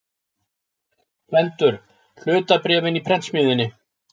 GVENDUR: Hlutabréfin í prentsmiðjunni.